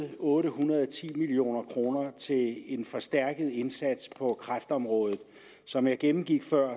otte hundrede og ti million kroner til en forstærket indsats på kræftområdet som jeg gennemgik før